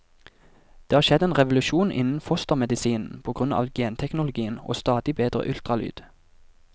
Det har skjedd en revolusjon innen fostermedisinen på grunn av genteknologien og stadig bedre ultralyd.